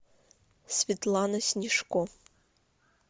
светлана снежко